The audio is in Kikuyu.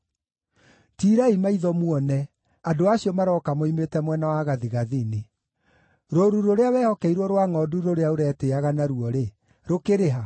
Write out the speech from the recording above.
Tiirai maitho muone andũ acio marooka moimĩte mwena wa gathigathini. Rũũru rũrĩa wehokeirwo rwa ngʼondu rũrĩa ũretĩĩaga naruo-rĩ, rũkĩrĩ ha?